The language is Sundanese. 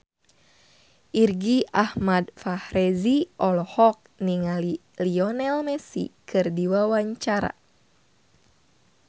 Irgi Ahmad Fahrezi olohok ningali Lionel Messi keur diwawancara